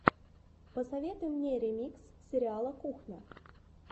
посоветуй мне ремикс сериала кухня